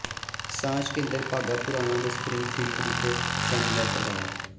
ਸਾਂਝ ਕੇਂਦਰ ਬਾਘਾ ਪੁਰਾਣਾ ਨੇ ਸਪਰਿੰਗ ਫ਼ੀਲਡ ਵਿਖੇ ਸੈਮੀਨਾਰ ਕਰਵਾਇਆ